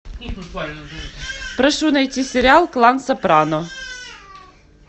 прошу найти сериал клан сопрано